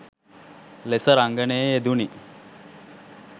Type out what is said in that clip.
ලෙස රංගනයේ යෙදුනි